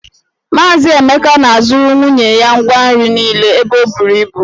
Mazị Emeka na-azụrụ nwunye ya ngwa nri niile ebe o buru ibu.